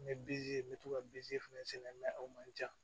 N bɛ bzi n bɛ to ka bini fɛnɛ sɛnɛ sɛnɛ o man ca